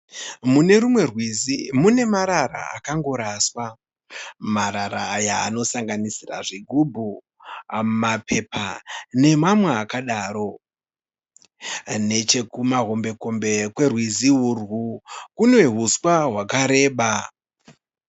Mune rumwe rwizi, munemarara akangoraswa. Marara aya anosanganisira zvigubhu mapepa nemamwe akadaro. Nechekumahombekombe kwerwizi urwu, kunehuswa hakareba.